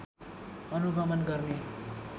अनुगमन गर्ने